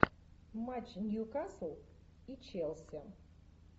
матч ньюкасл и челси